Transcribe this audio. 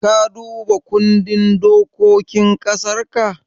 Ka duba kundin dokokin ƙasarka?